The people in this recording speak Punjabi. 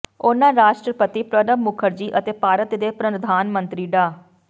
ਉਨ੍ਹਾਂ ਰਾਸ਼ਟਰਪਤੀ ਪ੍ਰਣਬ ਮੁਖਰਜੀ ਅਤੇ ਭਾਰਤ ਦੇ ਪ੍ਰਧਾਨ ਮੰਤਰੀ ਡਾ